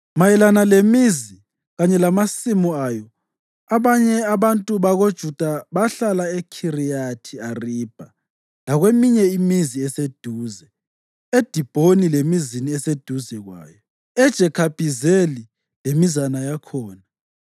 Mayelana lemizi kanye lamasimu ayo, abanye babantu bakoJuda bahlala eKhiriyathi Aribha lakweminye imizi eseduze, eDibhoni lemizini eseduze kwayo, eJekhabhizeli lemizana yakhona,